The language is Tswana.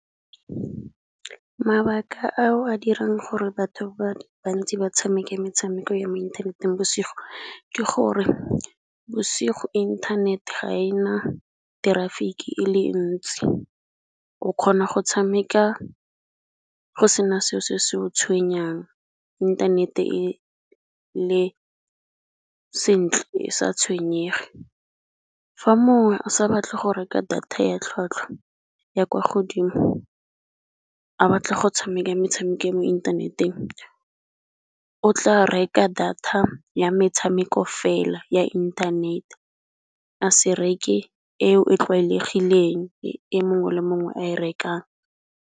Mabaka ao a dirang gore batho ba bantsi ba tshameka metshameko ya mo inthaneteng bosigo, ke gore bosigo inthanete ga ena traffic ele ntsi o kgona go tshameka go sena seo se se go tshwenyang inthanete e le sentle e sa tshwenyege. Fa mongwe a sa batle go reka data ya tlhatlhwa ya kwa godimo a batla go tshameka metshameko ya mo inthaneteng, o tla reka data ya metshameko fela ya inthanete a se reke eo e tlwaelegileng e mongwe le mongwe a e rekang.